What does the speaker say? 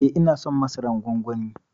Eh ina son masaran gwangwani.